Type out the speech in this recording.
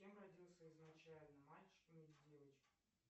кем родился изначально мальчиком или девочкой